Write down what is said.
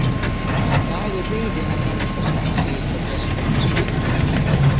Dagur reiðinnar nálgast, segir þá Gestur hinn spaki.